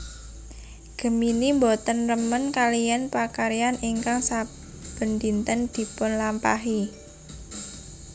Gemini boten remen kaliyan pakaryan ingkang saben dinten dipunlampahi